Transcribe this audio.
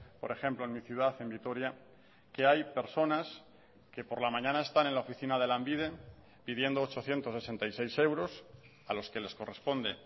por ejemplo en mi ciudad en vitoria que hay personas que por la mañana están en la oficina de lanbide pidiendo ochocientos sesenta y seis euros a los que les corresponde